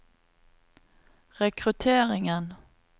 rekrutteringen